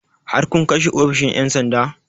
Har kun kai shi ofishin 'yan sanda?